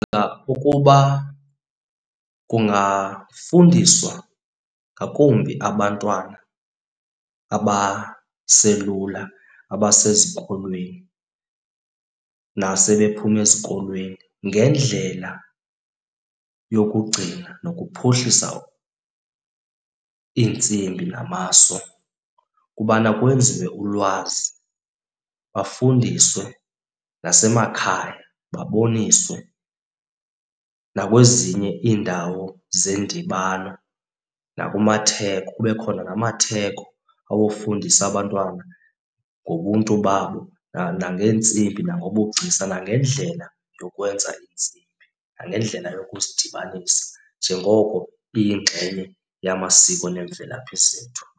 Ukuba kungafundiswa ngakumbi abantwana abaselula abasezikolweni nasebephume ezikolweni ngendlela yokugcina nokuphuhlisa iintsimbi namaso ukubana kwenziwe ulwazi. Bafundiswe nasemakhaya baboniswe nakwezinye iindawo zendibano nakumatheko. Kube khona namatheko awofundisa abantwana ngobuntu babo nangeentsimbi nangobugcisa nangendlela yokwenza iintsimbi nangendlela yokudibanisa njengoko iyingxenye yamasiko nemvelaphi zethu.